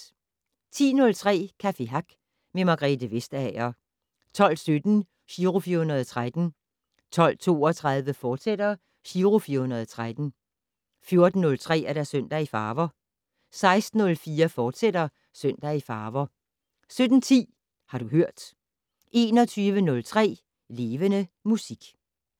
10:03: Café Hack med Margrethe Vestager 12:17: Giro 413 12:32: Giro 413, fortsat 14:03: Søndag i farver 16:04: Søndag i farver, fortsat 17:10: Har du hørt 21:03: Levende Musik